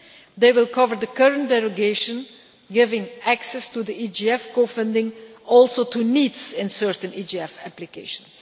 They will cover the current derogation giving access to EGF co-funding also to NEETs in certain EGF applications.